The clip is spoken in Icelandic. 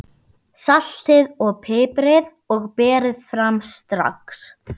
Saltið og piprið og berið fram strax.